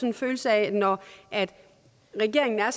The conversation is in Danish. en følelse af at når regeringen er